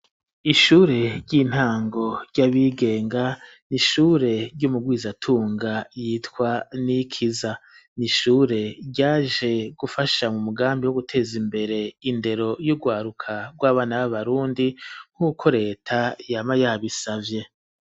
Ishure ry'intango ry'abigenga nishure ry'umubwizatunga yitwa nikiza n'ishure ryaje gufasha mumugambi wo guteza imbere indero y'ugwaruka rw'abana b'abarundi nk'uko reta yama yabisavye.